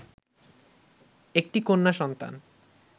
একটি কন্যা সন্তান